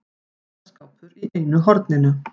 Fataskápur í einu horninu.